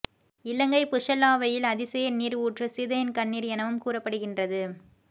இலங்கை புஸ்ஸல்லாவையில் அதிசய நீர் ஊற்று சீதையின் கண்ணீர் எனவும் கூறப்படுகின்றது